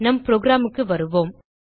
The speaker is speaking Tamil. நம் programக்கு வருவோம்